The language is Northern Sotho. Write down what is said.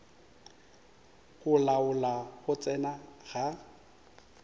go laola go tsena ga